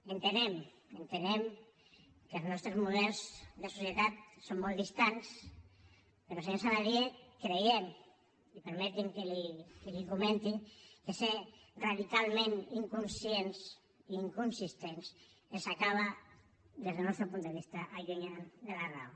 entenem que els nostres models de societat són molt distants però senyor saladié creiem i permeti’m que l’hi comenti que ser radicalment inconscients i inconsistents els acaba des del nostre punt de vista allunyant de la raó